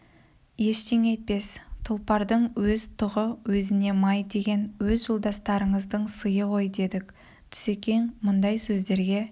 ештеңе етпес тұлпардың өз тұғы өзіне май деген өз жолдастарыңыздың сыйы ғой дедік түсекең мұндай сөздерге